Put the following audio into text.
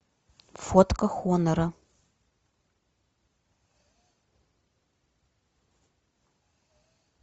фотка хонора